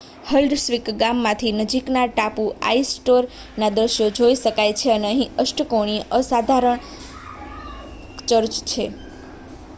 Haldarsvik ગામમાંથી નજીકના ટાપુ આઇસ્ટરોયના દૃશ્યો જોઈ શકાય છે અને અહીં અષ્ટકોણીય અસાધારણ ચર્ચ છે